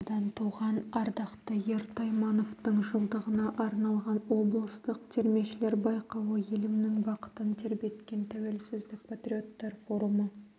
атадан туған ардақты ер таймановтың жылдығына арналған облыстық термешілер байқауы елімнің бақытын тербеткен тәуелсіздік патриоттар форумы